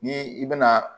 Ni i bɛna